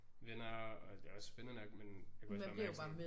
Venner og det også spændende nok men jeg kunne også bare mærke sådan